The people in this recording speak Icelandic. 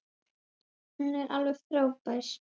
Hún er alveg frábær.